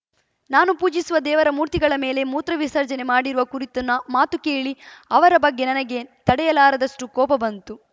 ನಾನು ಪೂಜಿಸುವ ದೇವರ ಮೂರ್ತಿಗಳ ಮೇಲೆ ಮೂತ್ರ ವಿಸರ್ಜನೆ ಮಾಡಿರುವ ಕುರಿತು ನಾ ಮಾತು ಕೇಳಿ ಅವರ ಬಗ್ಗೆ ನನಗೆ ತಡೆಯಲಾರದಷ್ಟುಕೋಪ ಬಂತು